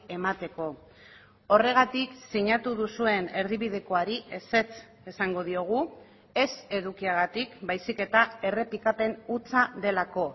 emateko horregatik sinatu duzuen erdibidekoari ezetz esango diogu ez edukiagatik baizik eta errepikapen hutsa delako